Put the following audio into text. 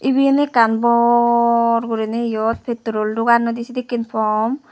eben ekkan bor guri nay eyot petrol duganoday sedikken pump.